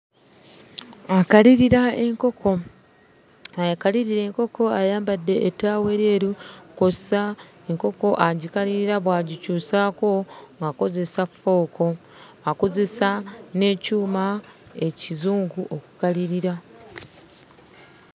Akalirira enkoko akalirira enkoko ayambadde ettaawo eryeru kw'ossa enkoko agikalirira bw'agikyusaako akozesa fooko akozesa n'ekyuma ekizungu okukalirira.